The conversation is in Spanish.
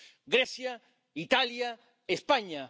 Grecia, Italia, España.